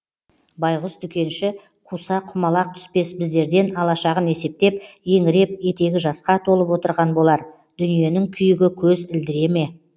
байғұс дүкенші қуса құмалақ түспес біздерден алашағын есептеп еңіреп етегі жасқа толып отырған болар дүниенің күйігі көз ілдіре ме